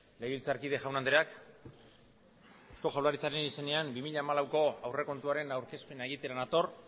legebiltzarkide jaun andreok eusko jaurlaritzaren izenean bi mila hamalauko aurrekontuaren aurkezpena egitera nator